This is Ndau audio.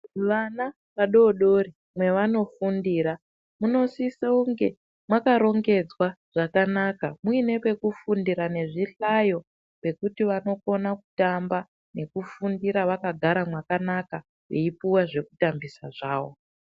Vana vadodori mevanofundira munosise kunge makarongedzwa zvakanaka muine pekufundira nezvihlayo zvekuti vanokona kutamba nekufundira vakagara mwakanaka veipuwa zvekutambisa zvavo.